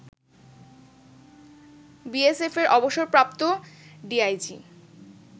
বিএসএফের অবসরপ্রাপ্ত ডিআইজি